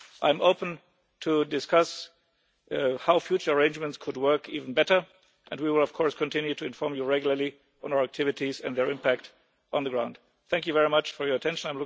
I am open to discussing how future arrangements could work even better, and we will, of course, continue to inform you regularly on our activities and their impact on the ground. Thank you very much for your attention.